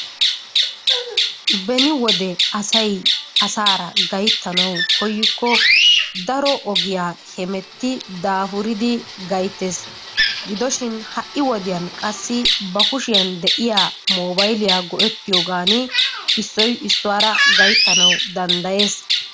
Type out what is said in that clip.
Beni wode asay asaara gayttanawu koykko daro ogiya hemetti daafuridi gayttees. Gido shin ha"i wodiyan ba kushiyan de'iya moobayliya gi'ettiyogan issoy issuwara gayttanawu danddayees.